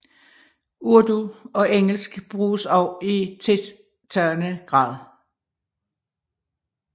Urdu og engelsk bruges også i tiltagende grad